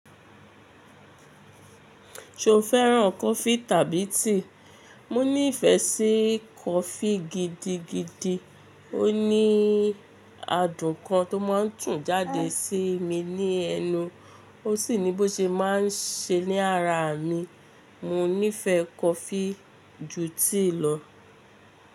Ṣo fẹ́ràn coffee tàbí tea? Mo ní ìfẹ́ sí coffee gidigidi. Ó ní adùn kan tó máa ń tún jáde sí mi ní ẹnu, ó sì ní bó ṣe máa ń ṣe ní ara mi. Mo nífẹ̀ẹ́ coffee ju tea lọ.